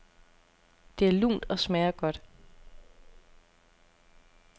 Det er lunt og smager godt.